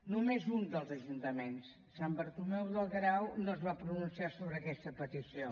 només un dels ajuntaments sant bartomeu del grau no es va pronunciar sobre aquesta petició